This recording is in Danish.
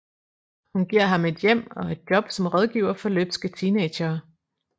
Hun giver ham et hjem og et job som rådgiver for løbske teenagere